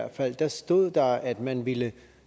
og femten stod der at man ville